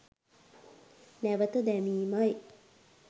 නැවත දැමීමයි